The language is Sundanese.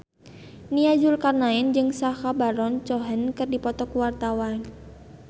Nia Zulkarnaen jeung Sacha Baron Cohen keur dipoto ku wartawan